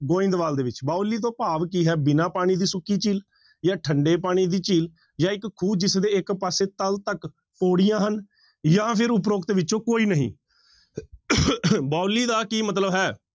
ਗੋਇੰਦਵਾਲ ਦੇ ਵਿੱਚ, ਬਾਉਲੀ ਤੋਂ ਭਾਵ ਕੀ ਹੈ ਬਿਨਾਂ ਪਾਣੀ ਦੀ ਸੁੱਕੀ ਝੀਲ ਜਾਂ ਠੰਢੇ ਪਾਣੀ ਦੀ ਝੀਲ ਜਾਂ ਇੱਕ ਖੂਹ ਜਿਸਦੇ ਇੱਕ ਪਾਸੇ ਤਲ ਤੱਕ ਪਾਉੜੀਆਂ ਹਨ ਜਾਂ ਫਿਰ ਉਪਰੋਕਤ ਵਿੱਚੋਂ ਕੋਈ ਨਹੀਂ ਬਾਉਲੀ ਦਾ ਕੀ ਮਤਲਬ ਹੈ।